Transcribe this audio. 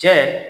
Cɛ